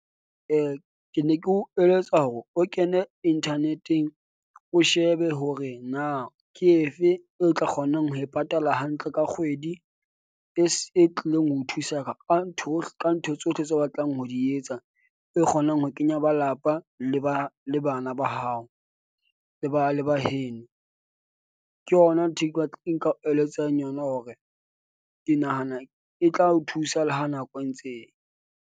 Ke ne ke o eletsa hore o kene internet-eng. O shebe hore na ke efe eo o tla kgonang ho e patala hantle ka kgwedi e e tlileng ho thusa, ka ntho ka ntho tsohle tseo o batlang ho di etsa, e kgonang ho kenya balapa. Le ba le ba le bana ba hao, le ba le ba heno. Ke yona ntho e e nka o eletsang yona hore ke nahana e tla o thusa le ha nako e ntse e ya.